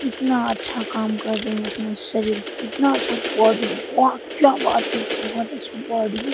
कितना अच्छा काम कर रहे हैं अपने शरीर कितना अच्छा बॉडी वाह क्या बात है बहुत अच्छा बॉडी ।